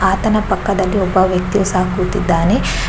ಆತನ ಪಕ್ಕದಲ್ಲಿ ಒಬ್ಬ ವ್ಯಕ್ತಿಯು ಸಹ ಕೂತಿದ್ದಾನೆ. --